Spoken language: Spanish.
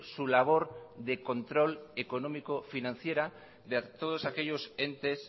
su labor de control económico financiera de todos aquellos entes